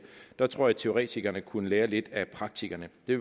der tror jeg at teoretikerne kunne lære lidt af praktikerne det